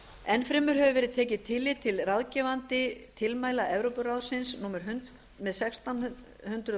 enn fremur hefur verið tekið tillit til ráðgefandi tilmæla evrópuráðsins númer sextán hundruð